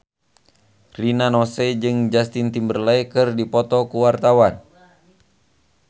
Rina Nose jeung Justin Timberlake keur dipoto ku wartawan